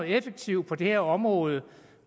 effektivt på det område